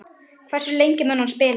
Hversu lengi mun hann spila?